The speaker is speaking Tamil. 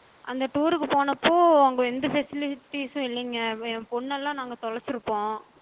அந்த tour கு போனப்போ அங்க எந்த facilities சம் இல்லங்க. ஏ பொண்ணெல்லா நாங்க தொலச்சிருப்போம்.